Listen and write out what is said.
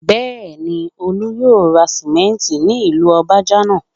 Bẹ́ẹ̀ni, Olú yóò ra sánmẹ́ńtì ní ìlú Ọbajànà